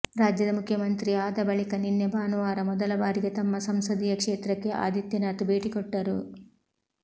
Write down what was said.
ರಾಜ್ಯದ ಮುಖ್ಯಮಂತ್ರಿ ಆದ ಬಳಿಕ ನಿನ್ನೆ ಭಾನುವಾರ ಮೊದಲ ಬಾರಿಗೆ ತಮ್ಮ ಸಂಸದೀಯ ಕ್ಷೇತ್ರಕ್ಕೆ ಆದಿತ್ಯನಾಥ್ ಭೇಟಿಕೊಟ್ಟರು